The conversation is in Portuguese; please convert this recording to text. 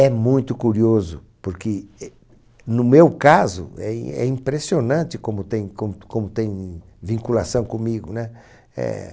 É muito curioso, porque, eh, no meu caso, é im é impressionante como tem com como tem vinculação comigo, né? É...